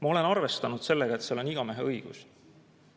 Ma olen arvestanud sellega, et seal kehtib igameheõigus.